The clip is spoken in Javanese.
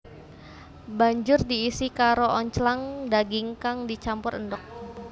Banjur diisi karo onclang daging kang dicampur endhog